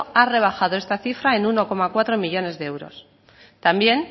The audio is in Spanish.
ha rebajado esta cifra en uno coma cuatro millónes de euros también